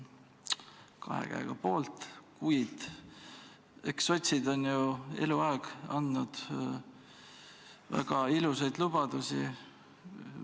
Olen kahe käega poolt, kuid eks sotsid ole ju eluaeg andnud väga ilusaid lubadusi.